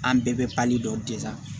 An bɛɛ bɛ dɔ